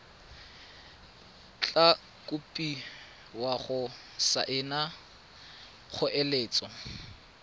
tla kopiwa go saena kgoeletso